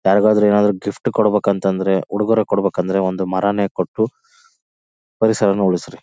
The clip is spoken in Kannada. ಯಾರಿಗಾದ್ರೂ ಏನಾದ್ರು ಗಿಫ್ಟ್ ಕೊಡಬೇಕ್ ಉಡುಗೊರೆ ಅಂತಂದ್ರೆ ಒಂದು ಮರನೇ ಕೊಟ್ಟು ಪರಿಸರನ ಉಳಿಸ್ರಿ.